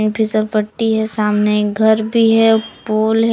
फिसल पट्टी है सामने घर भी है पूल है।